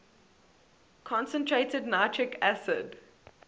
concentrated nitric acid